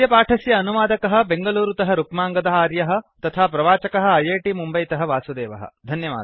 अस्य पाठस्य अनुवादकः बेङ्गलूरुतः रुक्माङ्गद आर्यः तथा प्रवाचकः ऐऐटि मुम्बैतः वासुदेवः